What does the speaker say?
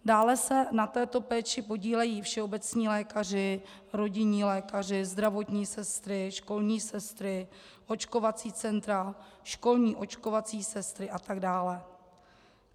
Dále se na této péči podílejí všeobecní lékaři, rodinní lékaři, zdravotní sestry, školní sestry, očkovací centra, školní očkovací sestry a tak dále.